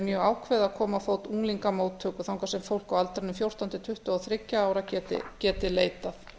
mjög ákveðið að koma á fót unglingamóttöku þangað sem fólk á aldrinum fjórtán til tuttugu og þriggja ára geti leitað